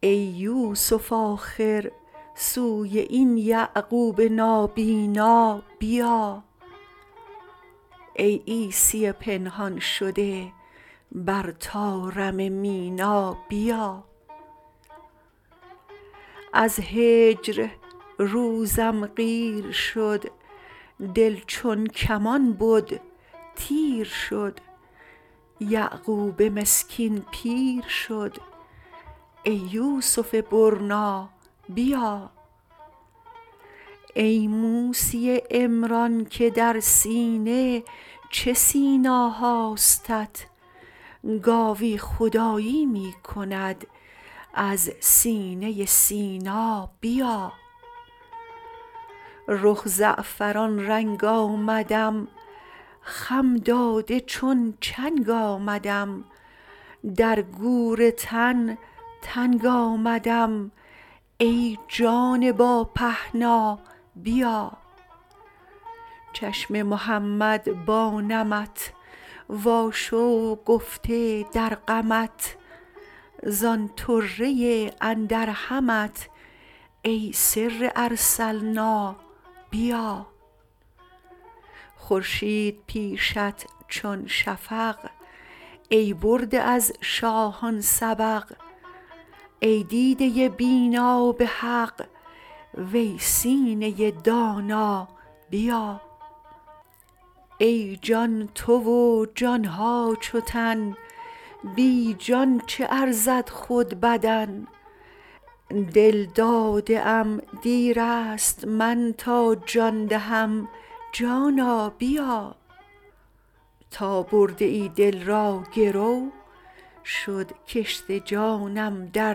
ای یوسف آخر سوی این یعقوب نابینا بیا ای عیسی پنهان شده بر طارم مینا بیا از هجر روزم قیر شد دل چون کمان بد تیر شد یعقوب مسکین پیر شد ای یوسف برنا بیا ای موسی عمران که در سینه چه سینا هاستت گاوی خدایی می کند از سینه سینا بیا رخ زعفران رنگ آمدم خم داده چون چنگ آمدم در گور تن تنگ آمدم ای جان با پهنا بیا چشم محمد با نمت واشوق گفته در غمت زان طره اندر همت ای سر ارسلنا بیا خورشید پیشت چون شفق ای برده از شاهان سبق ای دیده بینا به حق وی سینه دانا بیا ای جان تو و جان ها چو تن بی جان چه ارزد خود بدن دل داده ام دیر است من تا جان دهم جانا بیا تا برده ای دل را گرو شد کشت جانم در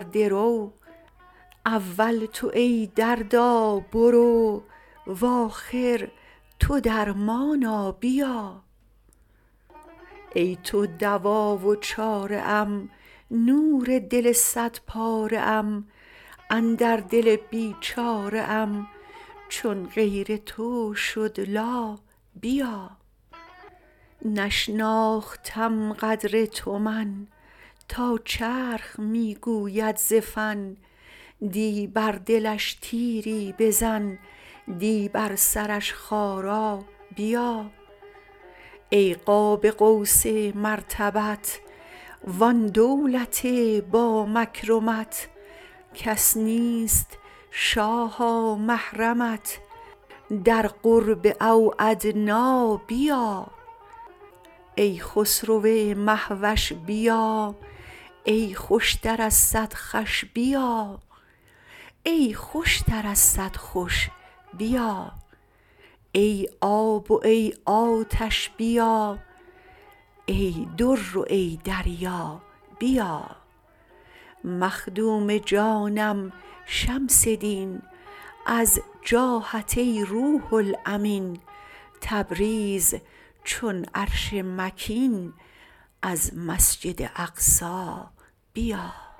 درو اول تو ای دردا برو و آخر تو درمانا بیا ای تو دوا و چاره ام نور دل صدپاره ام اندر دل بیچاره ام چون غیر تو شد لا بیا نشناختم قدر تو من تا چرخ می گوید ز فن دی بر دلش تیری بزن دی بر سرش خارا بیا ای قاب قوس مرتبت وان دولت با مکرمت کس نیست شاها محرمت در قرب او ادنی بیا ای خسرو مه وش بیا ای خوشتر از صد خوش بیا ای آب و ای آتش بیا ای در و ای دریا بیا مخدوم جانم شمس دین از جاهت ای روح الامین تبریز چون عرش مکین از مسجد اقصی بیا